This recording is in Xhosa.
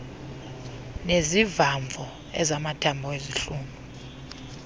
nezivamvo ezamathambo ezezihlunu